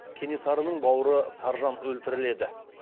кенесарының бауыры саржан өлтіріледі